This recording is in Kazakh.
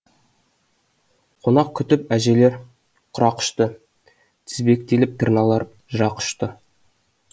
қонақ күтіп әжелер құрақұшты тізбектеліп тырналар жырақ ұшты